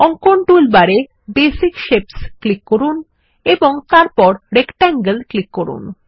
অঙ্কন টুলবার এ basic shapes click করুন এবং তারপর রেকট্যাঙ্গল এ ক্লিক করুন